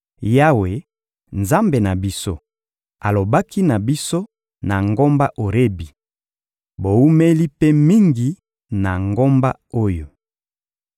«Yawe, Nzambe na biso, alobaki na biso, na ngomba Orebi: ‹Bowumeli mpe mingi na ngomba oyo.